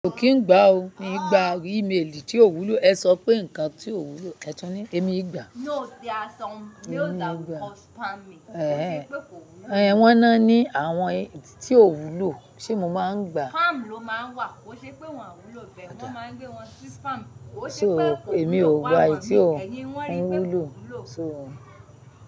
Mi ò kín ń gbá o, mi gbá email tí ò wúlò, ẹ sọ pé nǹkan tí ò wúlò, ẹ tún ní èmi kìí gbà. No they are some, no they are called spamming, ó ṣe pé kò wúlò. Ẹ̀hẹn, wọ́n á ní àwọn tí ò wúlò, ṣé mo máa ń gbà? Spam ló máa ń wà, ó ṣe pé wọn à wúlò bẹ́ẹ̀, wọ́n máa ń gbé wọn sí spam, ó ṣe pé kò wúlò bẹ́ẹ̀, ẹ́ni wọ́n rí pé kò wúlò.